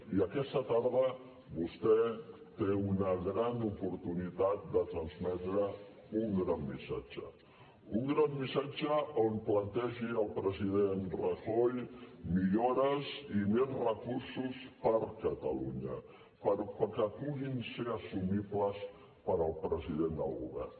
i aquesta tarda vostè té una gran oportunitat de transmetre un gran missatge un gran missatge on plantegi al president rajoy millores i més recursos per a catalunya perquè puguin ser assumibles pel president del govern